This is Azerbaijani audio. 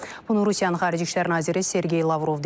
Bunu Rusiyanın xarici İşlər naziri Sergey Lavrov deyib.